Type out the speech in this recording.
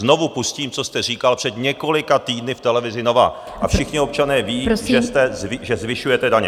Znovu pustím, co jste říkal před několika týdny v televizi Nova, a všichni občané vědí, že zvyšujete daně.